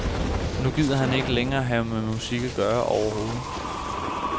Nu gider han ikke længere have med musik at gøre overhovedet.